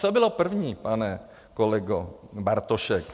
Co bylo první, pane kolego Bartošku?